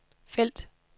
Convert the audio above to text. felt